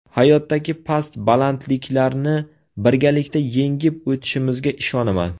Hayotdagi past-balandliklarni birgalikda yengib o‘tishimizga ishonaman.